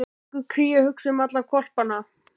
En hvernig gengur Kríu að hugsa um alla hvolpana?